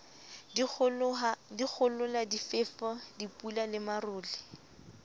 dikgohola difefo dipula le marole